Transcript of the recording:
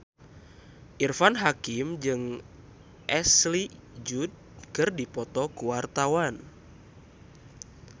Irfan Hakim jeung Ashley Judd keur dipoto ku wartawan